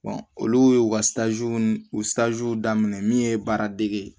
olu ye u ka u daminɛ min ye baaradege ye